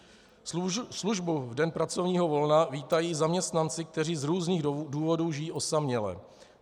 Službu v den pracovního volna vítají zaměstnanci, kteří z různých důvodů žijí osaměle.